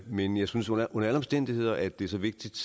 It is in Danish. men jeg synes under alle omstændigheder at det er så vigtigt